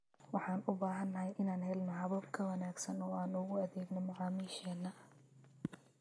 Waxaan u baahanahay inaan helno habab ka wanaagsan oo aan ugu adeegno macaamiisheena.